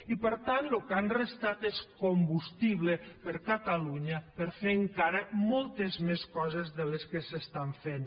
i per tant el que han restat és combustible per a catalunya per fer encara moltes més coses que les que s’estan fent